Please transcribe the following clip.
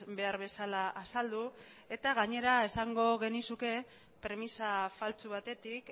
behar bezala azaldu eta gainera esango genizuke premisa faltsu batetik